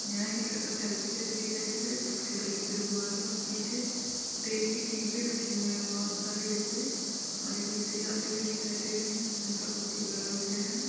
यहाँ एक लड़का सेल्फी लेते दिखाईं दे रहे जिसके गले पे रुमाल है और पीछे तेल के टीपे रखी हुए है बहोत सारे डिब्बे और एक व्यक्ति जाते हुए दिखाई दे रहे है जिनका फोटो ब्लर हो गया है।